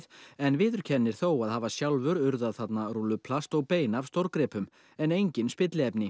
en viðurkennir þó að hafa sjálfur urðað þarna rúlluplast og bein af stórgripum en enginn spilliefni